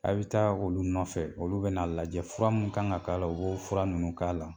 A bɛ taa olu nɔfɛ olu bɛn'a lajɛ fura min kan ka k'a la u b'o fura ninnu k'a la